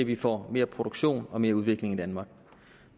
vi får mere produktion og mere udvikling i danmark